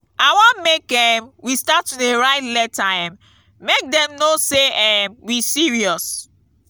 i wan make um we start to dey write letter um make dem no say um we serious.